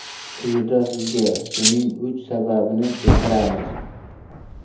Quyida sizga buning uch sababini keltiramiz.